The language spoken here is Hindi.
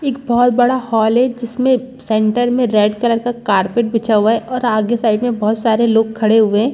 एक बहुत बड़ा हॉल हैं जिसमे सेंटर में रेड कलर का कारपेट बिछा हुआ हैं और आगे साइड में बहुत सारे लोग खड़े हुए --